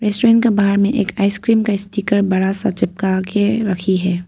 Ice cream बाहर में ice cream का स्टीकर बड़ा सा चिपका के रखी है।